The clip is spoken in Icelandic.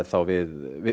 þá við